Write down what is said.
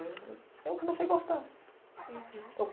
Eu comecei a gostar.